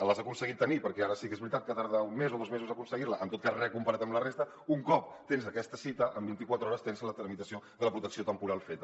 l’has aconseguit tenir perquè ara sí que és veritat que tarda un mes o dos mesos a aconseguir la en tot cas re comparat amb la resta un cop tens aquesta cita en vint i quatre hores tens la tramitació de la protecció temporal feta